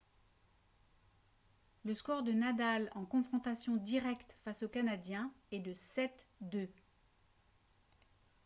le score de nadal en confrontations directes face au canadien est de 7-2